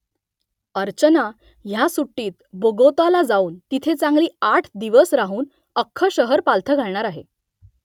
अर्चना ह्या सुट्टीत बोगोताला जाऊन तिथे चांगली आठ दिवस राहून अख्खं शहर पालथं घालणार आहे